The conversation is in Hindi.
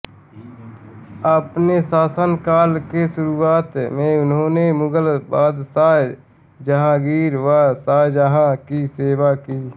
अपने शासन काल के शुरआत में इन्होने मुग़ल बादशाह जहांगीर व शाहजहां की सेवा की